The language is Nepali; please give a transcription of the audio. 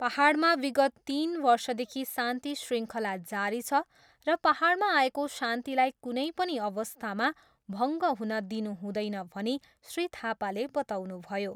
पाहाडमा विगत तिन वर्षदेखि शान्ति श्रृङ्खला जारी छ र पाहाडमा आएको शान्तिलाई कुनै पनि अवस्थामा भङ्ग हुन दिनु हुँदैन भनी श्री थापाले बताउनुभयो।